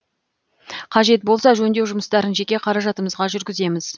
қажет болса жөндеу жұмыстарын жеке қаражатымызға жүргіземіз